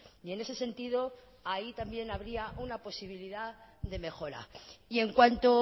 y en ese sentido ahí también habría una posibilidad de mejora y en cuanto